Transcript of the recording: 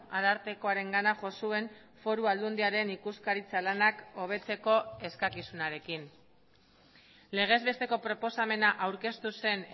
arartekoarengana jo zuen foru aldundiaren ikuskaritza lanak hobetzeko eskakizunarekin legez besteko proposamena aurkeztu zen